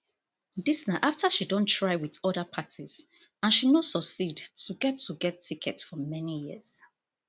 dis na afta she don try wit oda parties and she no succeed to get to get ticket for many years